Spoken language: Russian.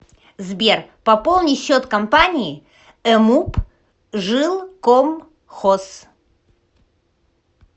сбер пополни счет компании эмуп жилкомхоз